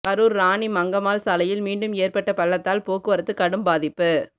கரூர் ராணி மங்கம்மாள் சாலையில் மீண்டும் ஏற்பட்ட பள்ளத்தால் போக்குவரத்து கடும் பாதிப்பு